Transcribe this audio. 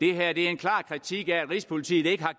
er en klar kritik af at rigspolitiet ikke har